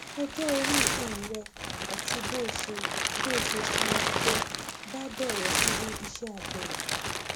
ọjọ orí um rẹ àti bó o ṣe bó o ṣe sanra tó bá dọrọ irú iṣẹ abẹ yìí